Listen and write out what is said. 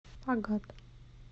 агат